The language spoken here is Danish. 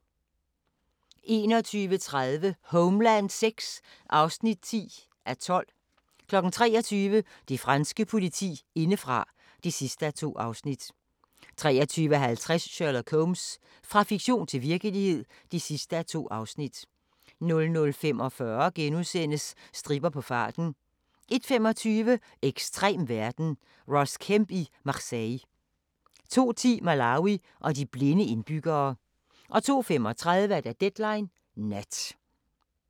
21:30: Homeland VI (10:12) 23:00: Det franske politi indefra (2:2) 23:50: Sherlock Holmes – fra fiktion til virkelighed (2:2) 00:45: Stripper på farten * 01:25: Ekstrem verden – Ross Kemp i Marseille 02:10: Malawi og de blinde indbyggere 02:35: Deadline Nat